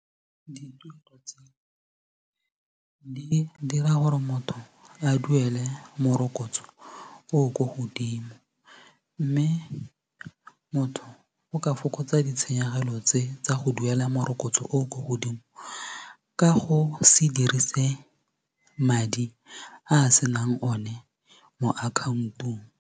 Di dira gore motho a duele morokotso o o ko godimo mme motho o ka fokotsa ditshenyegelo tse tsa go duela morokotso o o ko godimo ka go se dirise madi a a senang o ne mo account-ong.